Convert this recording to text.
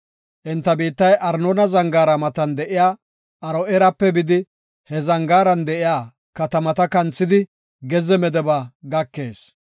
Enta biittay Arnoona Zangaara matan de7iya Aro7eerape bidi, he zangaaran de7iya katamaa kanthidi gezze Medeba gakees.